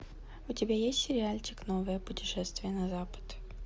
у тебя есть сериальчик новое путешествие на запад